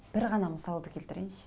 бір ғана мысалды келтірейінші